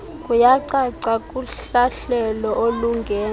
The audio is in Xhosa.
kuyacaca kuhlahlelo olungentla